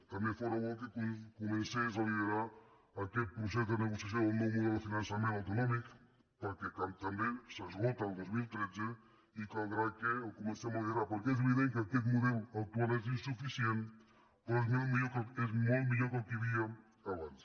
també fóra bo que comencés a liderar aquest procés de negociació del nou model de finançament autonòmic perquè també s’esgota el dos mil tretze i caldrà que el comencem a liderar perquè és evident que aquest model actual és insuficient però és molt millor que el que hi havia abans